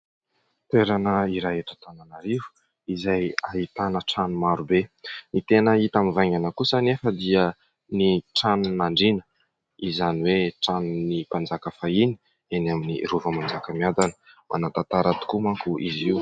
Toerana iray eto Antananarivo izay ahitana trano maro be. Ny tena hita mivaingana kosa anefa dia ny tranon'Andriana, izany hoe tranon'ny mpanjaka fahiny, eny amin'ny Rova ny Manjakamiadana. Manan-tantara tokoa manko izy io.